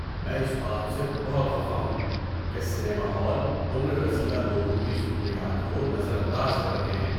میں اس بات سے بہت خفا ہوں کہ سنیما ہال عمر رسیدہ لوگوں کی ضروریات کو نظر انداز کر رہے ہیں۔